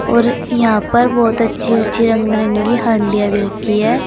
और यहां पर बहुत अच्छे अच्छे रंग बिरंगी हंडिया भी रखी हैं।